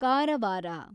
Karwar